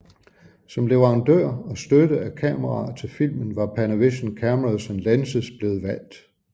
Som leverandør og støtte af kameraer til filmen var Panavision Cameras and Lenses blevet valgt